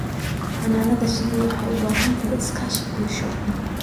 Xannaanada shinnidu waxay u baahan tahay iskaashi bulsho.